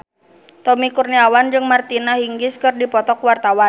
Tommy Kurniawan jeung Martina Hingis keur dipoto ku wartawan